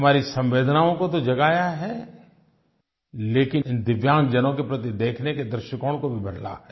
हमारी संवेदनाओं को तो जगाया है लेकिन इन दिव्यांगजनों के प्रति देखने के दृष्टिकोण को भी बदला है